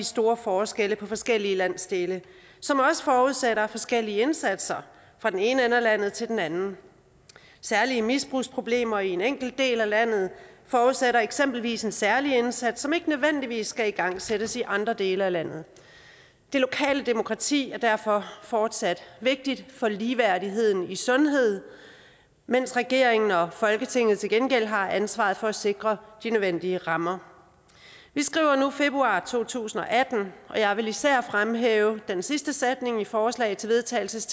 store forskelle på forskellige landsdele som også forudsætter forskellige indsatser fra den ene ende af landet til den anden særlige misbrugsproblemer i en enkelt del af landet forudsætter eksempelvis en særlig indsats som ikke nødvendigvis skal igangsættes i andre dele af landet det lokale demokrati er derfor fortsat vigtigt for ligeværdigheden i sundhed mens regeringen og folketinget til gengæld har ansvaret for at sikre de nødvendige rammer vi skriver nu februar to tusind og atten og jeg vil især fremhæve den sidste sætning i forslaget til vedtagelse